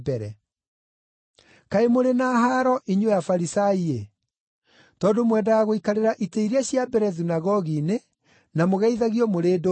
“Kaĩ mũrĩ na haaro inyuĩ Afarisai-ĩ! Tondũ mwendaga gũikarĩra itĩ iria cia mbere thunagogi-inĩ na mũgeithagio mũrĩ ndũnyũ-inĩ.